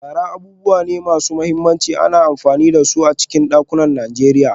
Shara abubuwa ne masu mahimmanci, ana amfani da su a cikin dakunan Najeriya.